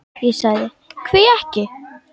Ég sagði: Hví ekki?